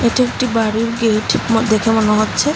এটি একটি বাড়ির গেট আমার দেখে মনে হচ্ছে।